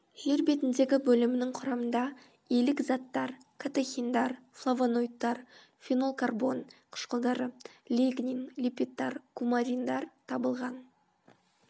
жер бетіндегі бөлімінің құрамында илік заттар катехиндар флавоноидтар фенолкарбон қышқылдары лигнин липидтар кумариндар табылған